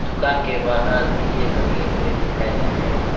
दुकान के बाहर दिए दगे हुए दिखाई दे रहे हैं।